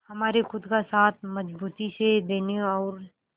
हमारे खुद का साथ मजबूती से देने और